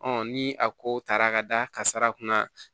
ni a kow taara ka da kasara kunna